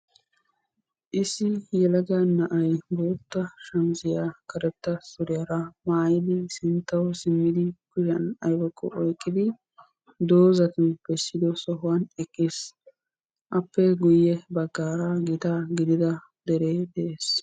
Issi yelaga na'ayi bootta shamiziya karetta suriyara maayidi sinttawu simmidi kushiyan aybakki oyqqidi doozati bessido sohuwan eqqis. Appe guyye baggaara gita gidida deree de'es.